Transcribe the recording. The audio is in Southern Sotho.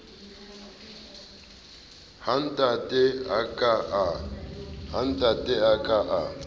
ha ntate a ka a